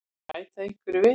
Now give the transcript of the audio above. Viltu bæta einhverju við?